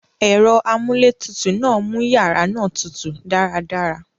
Èro amúlé tutù náà mú yàrá náà tutù dáradára